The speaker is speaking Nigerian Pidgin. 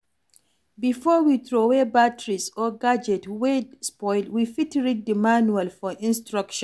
Before we trowey batteries or gadget wey spoil we fit read di manual for instruction